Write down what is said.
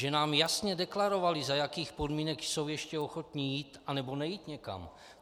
Že nám jasně deklarovali, za jakých podmínek jsou ještě ochotni jít anebo nejít někam.